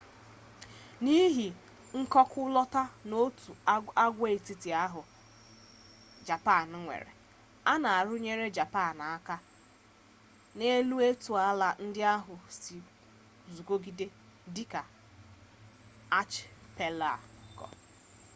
n’ihi mkọkụlọta/òtù agwaetiti ahụ japan nwere a na-arụnyekarị japan aka n’elu etu ala ndị ahụ sị guzogide dị ka archipelago